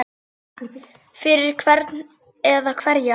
Fyrir hvern eða hverja?